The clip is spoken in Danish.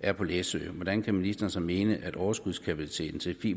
er på læsø hvordan kan ministeren så mene at overskudskapaciteten i